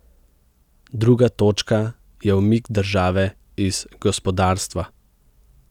Druga točka je umik države iz gospodarstva.